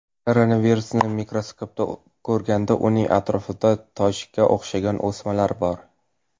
Koronavirusini mikroskopda ko‘rganda, uning atrofida tojga o‘xshagan o‘smalar bor.